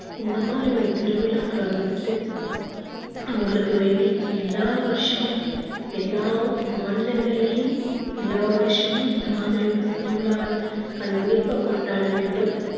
இந்த மாதிரி ஒரு திருவிழாக்கள வந்துட்டு அவங்களுக்கு வேண்டி எல்லா வருஷமும் எல்லா மாநிலங்கள்லையும் எல்லா வருஷமும் இந்த மாதிரி ஒரு திருவிழாவை கண்டிப்பா கொண்டாட வேண்டும்